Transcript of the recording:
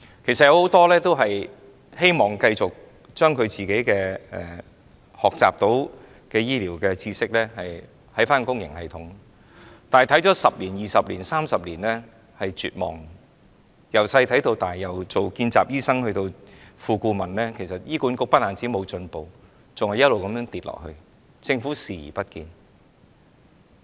其實很多醫生希望繼續將所學醫療知識應用於公營系統，但看了10年、20年、30年，便絕望了；從小看到大，由當年任見習醫生到現在當副顧問醫生，看到醫管局不但沒有進步，還不斷沉淪，政府卻視而不見。